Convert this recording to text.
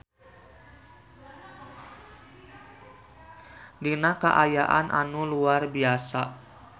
Dina kaayaan anu luar biasa.